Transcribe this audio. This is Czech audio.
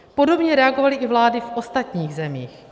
Podobně reagovaly i vlády z ostatních zemí.